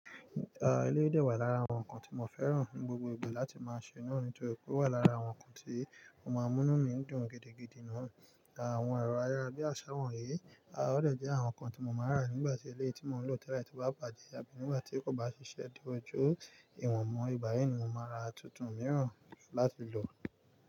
Ah, ilé dẹ̀ wà lára àwọn nǹkan tí mo fẹ́ràn ní gbogbo ìgbà láti máa ṣe náà nítorí pé ó wà lára àwọn nǹkan tí mo máa múnú mi dùn gidigidi náà. Àwọn ẹ̀rọ ayára bíi aṣáwán eré, aà ọ̀dẹ̀ jẹ́ àwọn nǹkan tí mo máa rà nígbà tí ilé tí mò ń lò tẹ́lẹ̀ tí bá bàjẹ́ àbí nígbà tí kò bá ṣiṣẹ́ di ojú ìwọ̀n mọ́, ìgbáyẹn ni mo máa ra tuntun mìíràn láti lò.